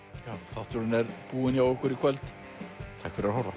þátturinn er búinn hjá okkur í kvöld takk fyrir að horfa